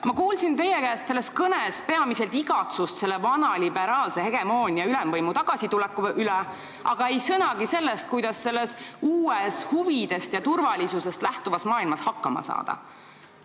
Ma kuulsin teie kõnest peamiselt igatsust vana liberaalse hegemoonia, ülevõimu tagasituleku järele, aga ei sõnagi sellest, kuidas selles uues, huvidest ja turvalisusest lähtuvas maailmas hakkama saada.